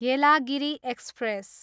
Yelagiri express